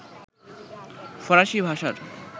ফরাসি ভাষার